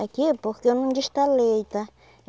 Aqui é porque eu não destalei, tá?